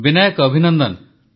Vinayak Abhinandan